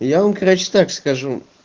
я вам короче так скажу